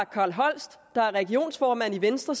carl holst der er regionsformand i venstre